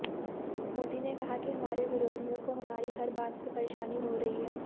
मोदी ने कहा कि हमारे विरोधियों को हमारी हर बात से परेशानी हो रही है